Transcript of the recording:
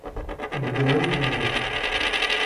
на билайн положить